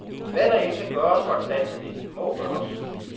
Hvad der end kan gøres for at standse det, må gøres.